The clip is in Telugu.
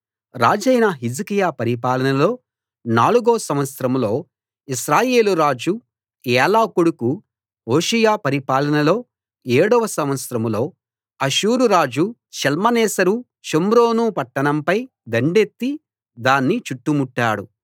రాజైన హిజ్కియా పరిపాలనలో నాలుగో సంవత్సరంలో ఇశ్రాయేలు రాజు ఏలా కొడుకు హోషేయ పరిపాలనలో ఏడో సంవత్సరంలో అష్షూరురాజు షల్మనేసెరు షోమ్రోను పట్టణంపై దండెత్తి దాన్ని చుట్టుముట్టాడు